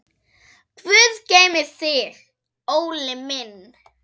Guð geymi þig, Óli minn.